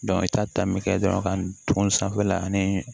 i ta ta min kɛ dɔrɔn ka tugun sanfɛla ani